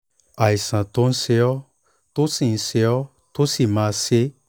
àìsàn tó ń ṣe ọ́ tó sì ń ṣe ọ́ tó sì máa ń ṣe é